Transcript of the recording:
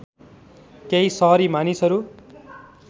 केही सहरी मानिसहरू